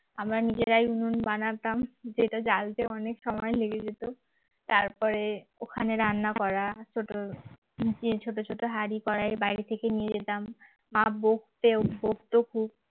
আমরা নিজেরাই উনুন বানাতাম যেটা জ্বালতে অনেক সময় লেগে যেত, তারপরে ওখানে রান্না করা ছোট দিয়ে ছোট ছোট হাড়ি কড়াই বাড়ি থেকে নিয়ে যেতাম মা বকতে ও বকত খুব